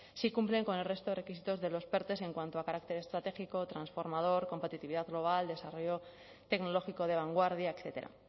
sí cumplen con el resto de requisitos de los perte en cuanto a carácter estratégico transformador competitividad global de desarrollo tecnológico de vanguardia etcétera